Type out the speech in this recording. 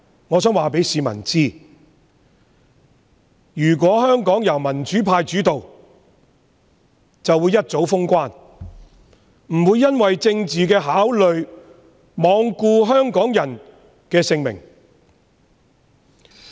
我想告訴市民，如果香港由民主派主導，便早已封關，不會因為政治考慮而罔顧香港人的性命。